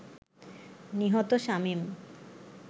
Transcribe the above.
নিহত শামীম